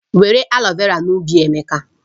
Were aloe vera n'ubi Emeka